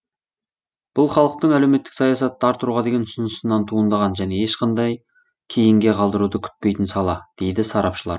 бұл халықтың әлеуметтік саясатты арттыруға деген ұсынысынан туындаған және ешқандай кейінге қалдыруды күтпейтін сала дейді сарапшылар